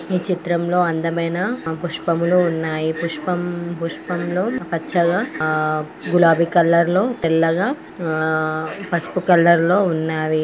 ఈ చిత్రంలో అందమైన పుష్పములు ఉన్నాయి. పుష్పమ్-పుష్పములు పచ్చగా ఆ గులాబీ కలర్ లో తెల్లగా ఆ పసుపు కలర్ లో ఉన్నవి.